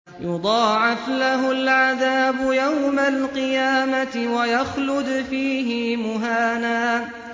يُضَاعَفْ لَهُ الْعَذَابُ يَوْمَ الْقِيَامَةِ وَيَخْلُدْ فِيهِ مُهَانًا